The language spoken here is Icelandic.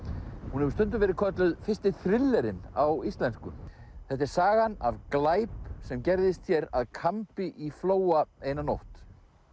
hún hefur stundum verið kölluð fyrsti á íslensku þetta er sagan af glæp sem gerðist hér að kambi í Flóa eina nótt